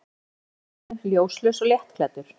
Hann hjólar í myrkrinu, ljóslaus og léttklæddur.